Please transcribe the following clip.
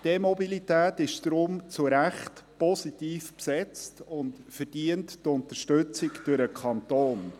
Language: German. Die E-Mobilität ist deshalb zu Recht positiv besetzt und verdient die Unterstützung durch den Kanton.